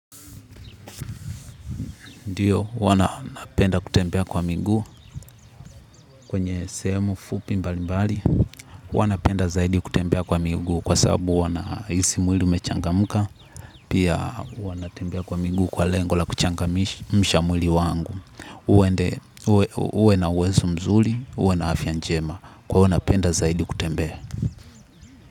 Ndiyo huwa napenda kutembea kwa miguu kwenye sehemu fupi mbali mbali. Huwa napenda zaidi kutembea kwa miguu kwa sababu huwa nahisi mwili umechangamka. Pia huwa natembea kwa miguu kwa lengo la kuchangamsha mwili wangu. Uwe na uwezo mzuri uwe na afya njema kwa hivyo napenda zaidi kutembea.